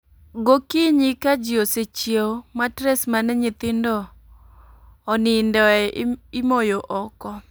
Gokinyi ka ji osechiew, matres manenyithindo o nindie, imoyo oko